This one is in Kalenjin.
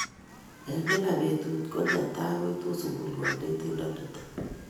Eng kila betut ko netai koitu sukul kanetindonitok.